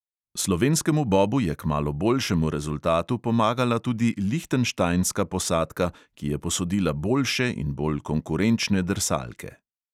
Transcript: Slovenskemu bobu je k malo boljšemu rezultatu pomagala tudi lihtenštajnska posadka, ki je posodila boljše in bolj konkurenčne drsalke.